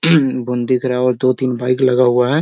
बूँद दिख रहा है और दो-तीन बाइक लगा हुआ है।